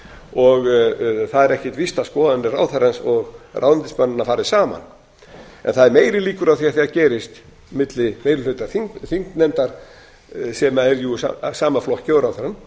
og það er ekkert víst að skoðanir ráðherrans og ráðuneytismannanna fari saman en það eru meiri líkur á því að það gerist milli meiri hluta þingnefndar sem er jú í sama flokki og ráðherrann